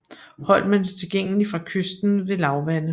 Holmen er tilgængelig fra kysten ved lavvande